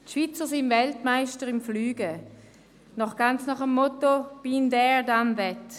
Die Schweizer sind Weltmeister im Fliegen, ganz nach dem Motto «been there, done that».